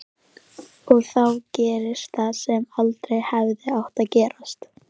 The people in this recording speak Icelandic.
Og þá gerðist það sem aldrei hefði átt að gerast.